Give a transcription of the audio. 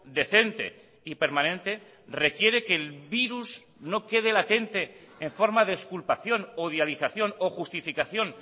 decente y permanente requiere que el virus no quede latente en forma de exculpación odialización o justificación